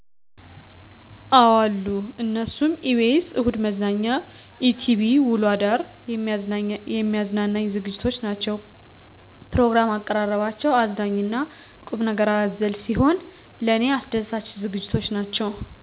አዎ አሉ። እነሱም፦ ebs እሁድ መዝናኛ፤ etv ውሎ አዳር የሚያዝናናኝ ዝግጅቶች ናቸዉ። ፕሮግራም አቀራረባቸው አዝናኝ እና ቁምነገር አዘል ሲሆን ለኔ አስደሳች ዝግጅቶች ናቸው።